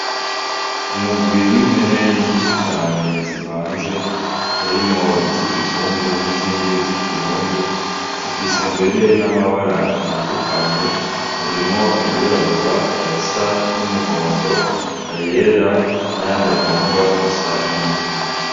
Umugwi w' impene nyinshi cane zivanze harimwo izi kizungu n' izindi zikirundi zifise mbere n' amabara atandukanye harimwo ayirabura ayasa n' umuhondo ayera n' ayandi agomba gusa n' ivu.